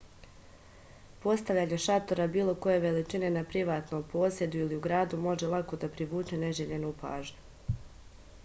postavljanje šatora bilo koje veličine na privatnom posedu ili u gradu može lako da privuče neželjenu pažnju